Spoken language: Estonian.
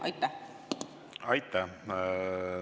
Aitäh!